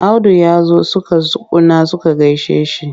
Audu ya zo suka tsuguna suka gaishe shi.